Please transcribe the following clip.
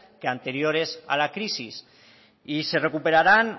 que anteriores a la crisis y se recuperarán